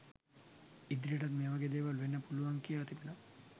ඉදිරියටත් මේවගේ දේවල් වෙන්න පුළුවන් කියා තිබෙනවා.